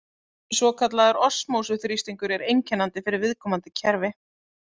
Svokallaður osmósu-þrýstingur er einkennandi fyrir viðkomandi kerfi.